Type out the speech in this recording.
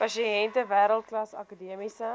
pasiënte wêreldklas akademiese